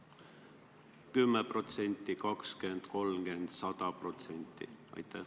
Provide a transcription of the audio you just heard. Oli neid 10%, 20%, 30% või 100%?